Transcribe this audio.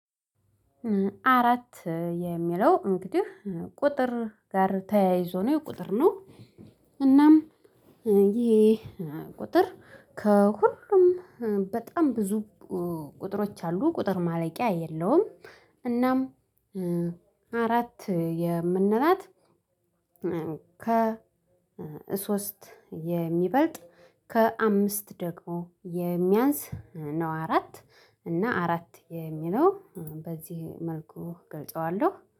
አራት የሚለው እንግዲህ ቁጥር ጋር ተያይዞ ነው የቁጥር ነው እናም ይሄ ቁጥር ከሁሉም በጣም ብዙ ቁጥሮች አሉ ቁጥር ማለቂያ የለውም። እናም አራት የምንላት ከ ሶስት የሚበልጥ ከአምስት ደግሞ የሚያንስ ነው። አራት እና አራት የሚለው በዚህ መልኩ እገልጸዋለሁ